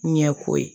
Ɲɛko ye